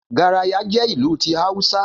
Garaya jẹ́ ìlù ti Awúsá